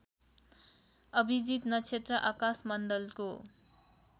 अभिजित नक्षत्र आकाशमण्डलको